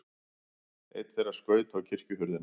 Einn þeirra skaut á kirkjuhurðina.